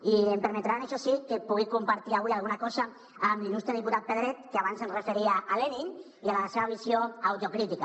i em permetran això sí que pugui compartir avui alguna cosa amb l’il·lustre diputat pedret que abans es referia a lenin i a la seva visió autocrítica